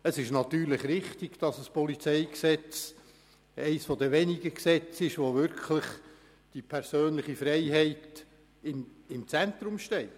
Es ist natürlich richtig, dass das PolG eines der wenigen Gesetze ist, bei welchen wirklich die persönliche Freiheit gewisser Personen im Zentrum steht.